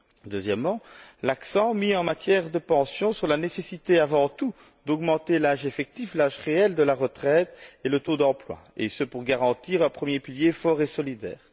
Deuxièmement, l'accent mis en matière de pensions sur la nécessité, avant tout, d'augmenter l'âge effectif, l'âge réel de la retraite et le taux d'emploi, et ce pour garantir un premier pilier fort et solidaire.